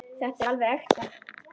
Þetta er alveg ekta.